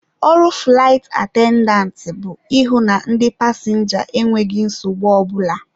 Ọrụ fụlaịt atendantị bụ ịhụ na ndị pasịnja enweghị nsogbu ọ bụla.